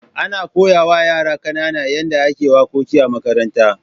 Ana koya wa yara kanana yadda ake wakoki a makaranta.